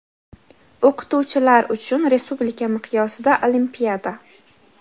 O‘qituvchilar uchun respublika miqyosida olimpiada.